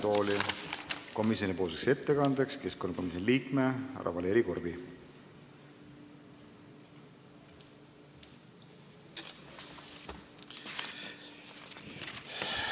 Palun komisjoni ettekandeks kõnetooli keskkonnakomisjoni liikme Valeri Korbi!